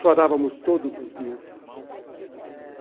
Chorávamos todos os dias.